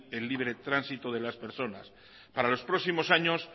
el libre tránsito de las personas para los próximos años